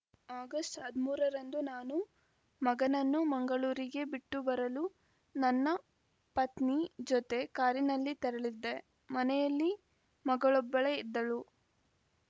August ಹದಿಮೂರ ರಂದು ನಾನು ಮಗನನ್ನು ಮಂಗಳೂರಿಗೆ ಬಿಟ್ಟು ಬರಲು ನನ್ನ ಪತ್ನಿ ಜೊತೆ ಕಾರಿನಲ್ಲಿ ತೆರಳಿದ್ದೆ ಮನೆಯಲ್ಲಿ ಮಗಳೊಬ್ಬಳೇ ಇದ್ದಳು